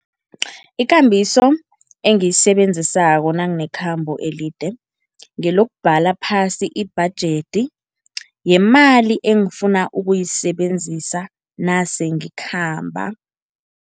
Ikambiso engiyisebenzissako nanginekhambo elide, ngelokubhala phasi ibhajethi yemali engifuna ukuyisebenzisa nase ngikhamba.